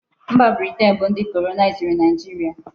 Mba Britian bu ndi kolonaiziri Naijiria